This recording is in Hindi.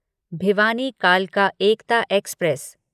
भिवानी कालका एकता एक्सप्रेस